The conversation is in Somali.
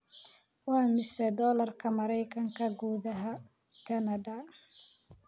Waa imisa Doolarka Maraykanka gudaha Kanada?